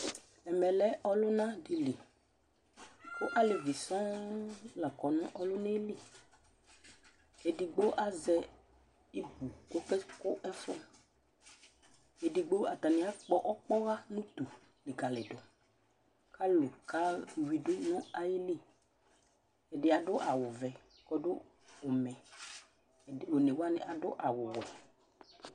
Ɛmɛ lɛ ʋlʋna dɩ li kʋ alevi sɔŋ la kɔ nʋ ɔlʋna yɛ li edigbo azɛ ibu kʋ ɔkakʋ ɛfʋ Edigbo atanɩ akpɔ ɔkpɔɣa nʋ utu likalɩdʋ kʋ alʋ kayuidu nʋ ayili Ɛdɩ adʋ awʋvɛ kʋ ɔdʋ ʋmɛ, ɛd one wanɩ adʋ awʋwɛ